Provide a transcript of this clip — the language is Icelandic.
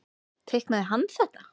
Teiknaði hann þetta?